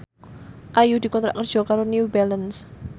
Ayu dikontrak kerja karo New Balance